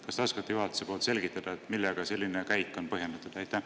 Kas te oskate juhatuse nimel selgitada, millega selline käik on põhjendatud?